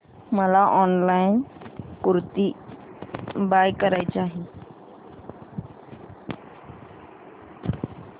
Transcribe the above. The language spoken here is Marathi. मला ऑनलाइन कुर्ती बाय करायची आहे